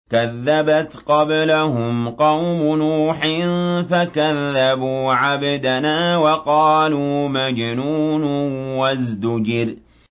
۞ كَذَّبَتْ قَبْلَهُمْ قَوْمُ نُوحٍ فَكَذَّبُوا عَبْدَنَا وَقَالُوا مَجْنُونٌ وَازْدُجِرَ